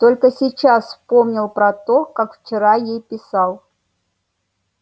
только сейчас вспомнил про то как вчера ей писал